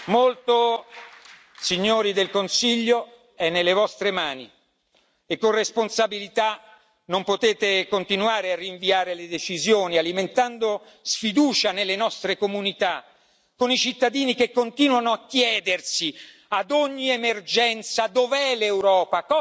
Molto, signori del Consiglio, è nelle vostre mani e con responsabilità non potete continuare a rinviare le decisioni, alimentando sfiducia nelle nostre comunità, con i cittadini che continuano a chiedersi, ad ogni emergenza dove l'Europa?